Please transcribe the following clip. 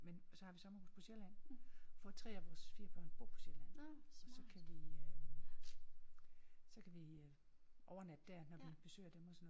Men så har vi sommerhus på Sjælland for 3 af vores 4 børn bor på Sjælland så kan vi øh så kan vi overnatte der når vi besøger dem og sådan noget